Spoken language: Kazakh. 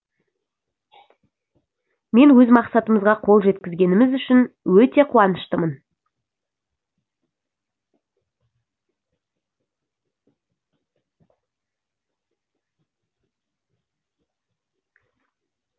мен өз мақсатымызға қол жеткізгеніміз үшін өте қуаныштымын